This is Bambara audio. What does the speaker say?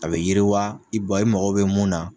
A bɛ yiriwa i bɔ i mago bɛ mun na.